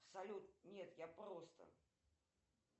салют нет я просто